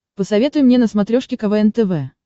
посоветуй мне на смотрешке квн тв